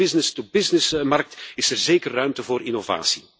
Ook in de business to business markt is er zeker ruimte voor innovatie!